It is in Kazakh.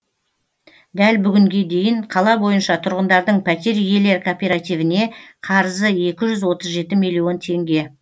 дәл бүгінге дейін қала бойынша тұрғындардың пәтер иелер кооперативіне қарызы екі жүз отыз жеті милллион теңге